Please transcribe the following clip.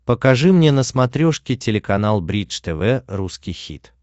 покажи мне на смотрешке телеканал бридж тв русский хит